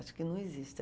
Acho que não existe.